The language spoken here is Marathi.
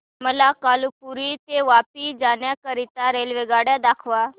मला कालुपुर ते वापी जाण्या करीता रेल्वेगाड्या दाखवा